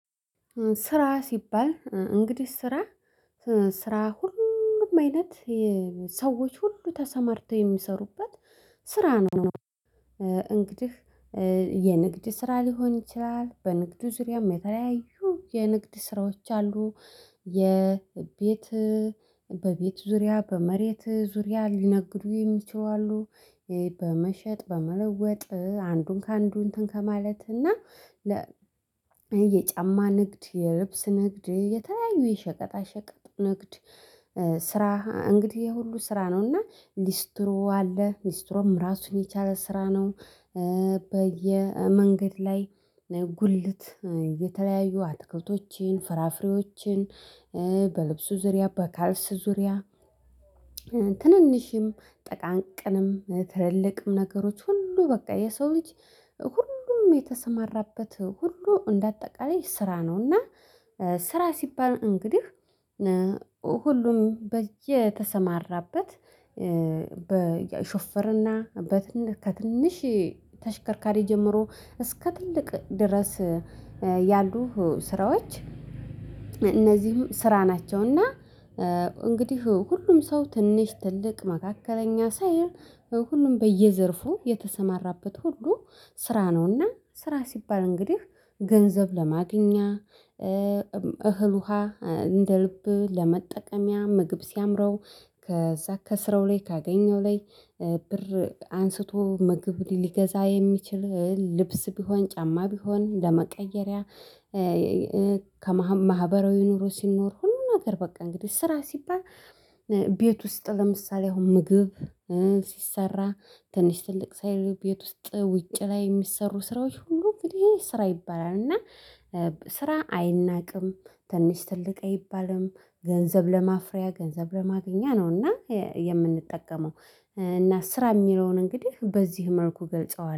ስራ ሲባል እንግዲህ ስራ ስራ ሁሉም አይነት ሰዎች ሁሉ ተሰማርተው የሚሰሩበት ስራ ነው። እንግዲህ የንግድ ስራ ሊሆን ይችላል በንግዱ ዙሪያም የተለያዩ የንግድ ስራዎች አሉ። የቤት በቤት ዙሪያ በመሬት ዙሪያ ሊነግዱ የሚችሉ አሉ። በመሸጥ በመለወጥ አንዱን ከአንዱ እንትን ከማለት እና የጫማ ንግድ የልብስ ንግድ የተለያዩ የሸቀጣ ሸቀጥ ንግድ። ስራ እንግዲህ የሁሉ ስራ ነውና ሊስትሮ አለ ሊስትሮም ራሱን የቻለ ስራ ነው። በየመንገድ ላይ ጉልት የተለያዩ አትክልቶችን ፍራፍሬዎችን በልብሱ ዙሪያ በካልሱ ዙሪያ። ትንንሽም ጥቃቅንም ትልልቅም ነገሮች ሁሉ በቃ የሰው ልጅ ሁሉም የተሰማራበት ሁሉ እንደ አጠቃላይ ስራ ነውና። ስራ ሲባል እንግዲህ ሁሉም በየተሰማራበት በሹፍርና ከትንሽ ተሽከርካሪ ጀምሮ እስከ ትልቅ ድረስ ያሉ ስራዎች። እነዚህም ስራ ናቸውና። እንግዲህ ሁሉም ሰው ትንሽ ትልቅ መካከለኛ ሳይል ሁሉም በየዘርፉ የተሰማራበት ሁሉ ስራ ነውና ስራ ሲባል እንግዲህ ገንዘብ ለማግኛ። እህል ውሃ እንደ ልብ ለመጠቀምያ ምግብ ሲያምረው ከዛ ከስራው ላይ ካገኘው ላይ ብር አንስቶ ምግብ ሊገዛ የሚችል ልብስ ቢሆን ጫማ ቢሆን ለመቀየሪያ። ከማህበራዊ ኑሮ ሲኖር ሁሉን ነገር በቃ እንግዲህ ስራ ሲባል። ቤት ውስጥ ለምሳሌ አሁን ምግብ ሲሰራ ትንሽ ትልቅ ሳይል ቤት ውስጥ ውጭ ላይ የሚሰሩ ስራዎች ሁሉ እንግዲህ ስራ ይባላል። እና ስራ አይናቅም። ትንሽ ትልቅ አይባልም ገንዘብ ለማፍሪያ ገንዘብ ለማግኛ ነውና የምንጠቀመው። እና ስራ የሚለውን እንግዲህ በዚህ መልኩ ገልጸዋል